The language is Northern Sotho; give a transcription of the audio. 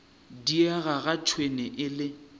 diega ga tšhwene e le